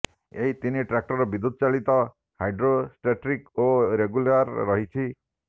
ଏହି ତିନି ଟ୍ରାକ୍ଟର ବିଦ୍ୟୁତଚାଳିତ ହାଇଡ୍ରୋଷ୍ଟେଟ୍ରିକ ଓ ରେଗୁଲାର ରହିଛି